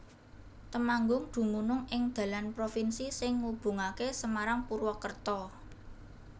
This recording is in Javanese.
Temanggung dumunung ing dalan provinsi sing ngubungaké Semarang Purwakerta